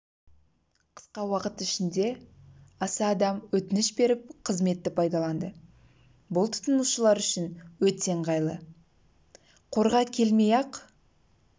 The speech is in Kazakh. қысқа уақыт ішінде аса адам өтініш беріп қызметті пайдаланды бұл тұтынушылар үшін өте ыңғайлы қорға келмей-ақ